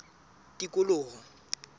tikoloho